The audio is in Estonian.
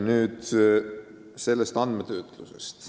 Nüüd andmetöötlusest.